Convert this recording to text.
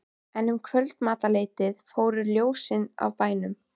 En um kvöldmatarleytið fóru ljósin af bænum.